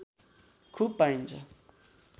खुब पाइन्छ